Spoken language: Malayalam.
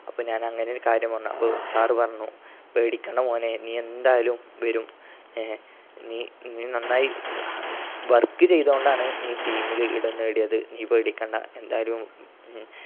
അപ്പൊ ഞാൻ അങ്ങനൊരു കാര്യം പറഞ്ഞു. അപ്പൊ sir പറഞ്ഞു പേടിക്കണ്ട മോനെ നീയെന്തായാലും വരും ആഹ് നീ നന്നായി work ചെയ്ത്കൊണ്ടാണ് നീ team ൽ ഇടം നേടിയത് നീ പേടിക്കണ്ട എന്തായാലും മ്